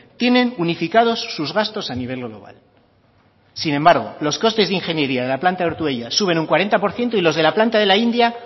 tienen unificados sus gastos a nivel global sin embargo los costes de ingeniería de la planta de ortuella suben un cuarenta por ciento y los de la planta de la india